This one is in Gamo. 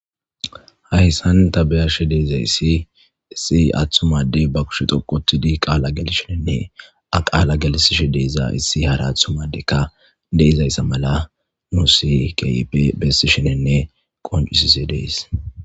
hayssan tabeya shedezayssi issi aththumadey ba kushe doqotidi qaala gelishenenne a qaala gelisishe deeza issi hara aththumadeykka deizayssa mala nu si kyipe bessi shenenne qoncisise dees